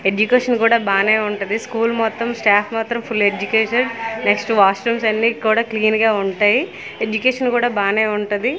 ఎడ్యుక్యూషన్ కూడా బానే ఉంటది స్కూల్ మొత్తం స్టాఫ్ మాత్రం full educated next washroom అన్ని కూడా క్లీన్ గా వుంటాయి ఎడ్యుక్యూషన్ కూడా బానే ఉంటది.